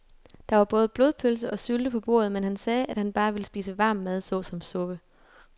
Der var både blodpølse og sylte på bordet, men han sagde, at han bare ville spise varm mad såsom suppe.